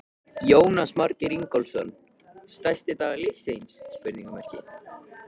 Jónas Margeir Ingólfsson: Stærsti dagur lífs þíns?